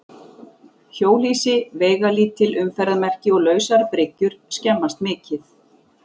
Hjólhýsi, veigalítil umferðarmerki og lausar bryggjur skemmast mikið.